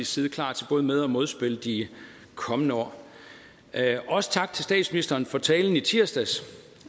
side klar til både med og modspil de kommende år også tak til statsministeren for talen i tirsdags